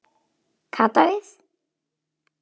Kata við.